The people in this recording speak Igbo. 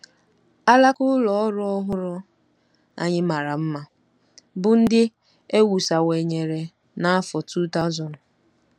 Alaka ụlọ ọrụ ọhụrụ anyị mara mma, bụ́ ndị e wusawanyere n’afọ 2000